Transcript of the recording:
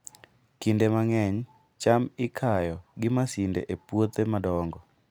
Kinde mang'eny, cham ikayo gi masinde e puothe madongo.